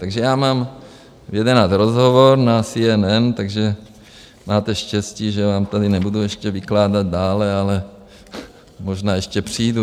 Takže já mám v 11 rozhovor na CNN, takže máte štěstí, že vám tady nebudu ještě vykládat dále, ale možná ještě přijdu.